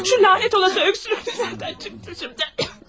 Şu lənət olası öskürək haradan çıxdı indi?